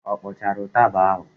Ọ kpọchara ụtaba ahụ?